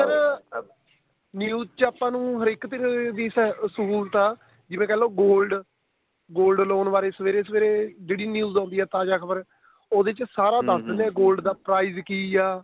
sir news ਚ ਆਪਾਂ ਨੂੰ ਹਰੇਕ ਫੇਰ ਦੀ ਸਹੁਲਤ ਆ ਜਿਵੇਂ ਕਹਿਲੋ gold gold loan ਬਾਰੇ ਸਵੇਰੇ ਸਵੇਰੇ ਜਿਹੜੀ news ਆਉਂਦੀ ਏ ਤਾਜ਼ਾ ਖਬਰ ਉਹਦੇ ਚ ਸਾਰਾ ਦੱਸਦੇ ਨੇ gold ਦਾ price ਕੀ ਆ